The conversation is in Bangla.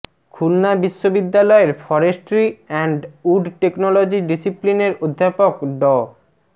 খুলনা বিশ্ববিদ্যালয়ের ফরেস্ট্রি অ্যান্ড উড টেকনোলজি ডিসিপ্লিনের অধ্যাপক ড